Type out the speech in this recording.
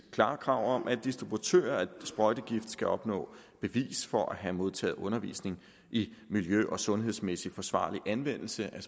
klare krav om at distributører af sprøjtegifte skal opnå bevis for at have modtaget undervisning i miljø og sundhedsmæssig forsvarlig anvendelse af